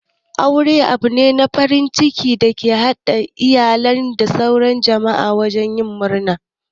Aure abune na farin ciki da ya ke haɗa iyali da sauran jama'a wajen yin murna.